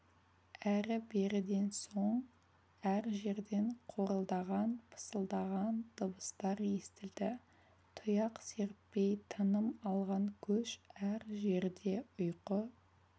әрі-беріден соң әр жерден қорылдаған пысылдаған дыбыстар естілді тұяқ серіппей тыным алған көш әр жерде ұйқы